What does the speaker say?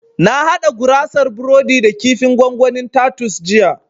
Na haɗa gurasar burodi da kifin gwangwanin tatus jiya